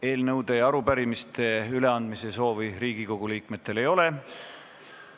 Eelnõude ja arupärimiste üleandmise soovi Riigikogu liikmetel ei ole.